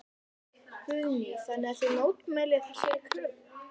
Guðný: Þannig að þið mótmælið þessari kröfu?